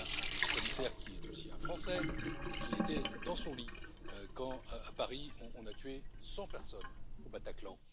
parlez à un commissaire qui est aussi un Français, et qui était dans son lit, quand, à Paris, on a tué 100 personnes au Bataclan.